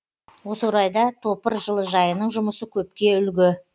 осы орайда топыр жылыжайының жұмысы көпке үлгі